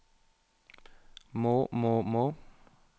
må må må